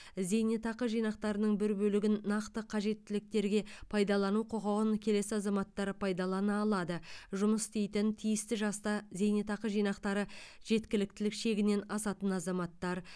зейнетақы жинақтарының бір бөлігін нақты қажеттіліктерге пайдалану құқығын келесі азаматтар пайдалана алады жұмыс істейтін тиісті жаста зейнетақы жинақтары жеткіліктілік шегінен асатын азаматтар